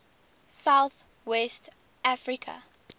south west africa